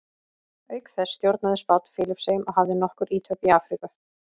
Auk þessa stjórnaði Spánn Filippseyjum og hafði nokkur ítök í Afríku.